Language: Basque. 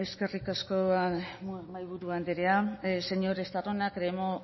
eskerrik asko mahaiburu andrea señor estarrona